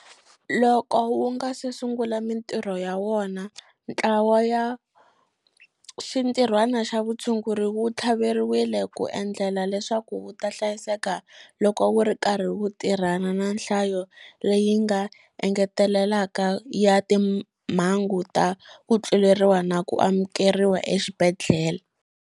Loko wu nga se sungula mitirho ya wona, Ntlawa wa Xintirhwana xa Vutshunguri wu tlhaveriwile ku endlela leswaku wu ta hlayiseka loko wu ri karhi wu tirhana na nhlayo leyi nga engeteleleka ya timhangu ta ku tluleriwa na ku amukeriwa exibedhlele.